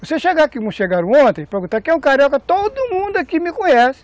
Você chegar aqui, como chegaram ontem, perguntar quem é o carioca, todo mundo aqui me conhece.